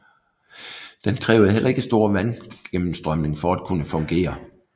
Den krævede heller ikke stor vandgennemstrømning for at kunne fungere